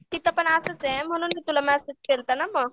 तिथपण असंच ये म्हणून तर मी तुला मेसेज केलता ना मग.